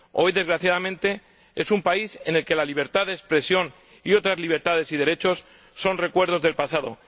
Hoy, desgraciadamente, es un país en el que la libertad de expresión y otras libertades y derechos son recuerdos del pasado.